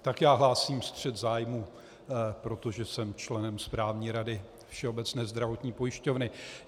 Tak já hlásím střet zájmů, protože jsem členem správní rady Všeobecné zdravotní pojišťovny.